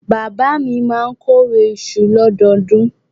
Bàbá mi máa kórè iṣu lọ́dọọdún.